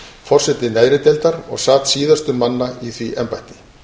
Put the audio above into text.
forseti neðri deildar og sat síðastur manna í því embætti